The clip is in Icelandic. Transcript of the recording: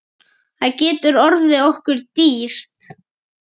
Það getur orðið okkur dýrt.